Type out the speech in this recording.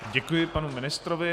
Děkuji panu ministrovi.